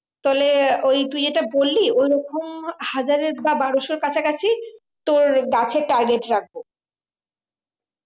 তাহলে ওই তুই যেটা বললি ওরকম হাজারের বা বারোসোর কাছা কাছি তোর গাছের target রাখবো